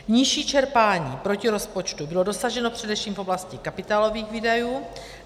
Nižší čerpání proti rozpočtu bylo dosaženo především v oblasti kapitálových výdajů.